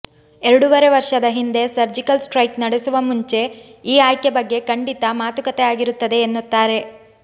ಎರಡೂವರೆ ವರ್ಷದ ಹಿಂದೆ ಸರ್ಜಿಕಲ್ ಸ್ಟ್ರೈಕ್ ನಡೆಸುವ ಮುಂಚೆ ಈ ಆಯ್ಕೆ ಬಗ್ಗೆ ಖಂಡಿತಾ ಮಾತುಕತೆ ಆಗಿರುತ್ತದೆ ಎನ್ನುತ್ತಾರೆ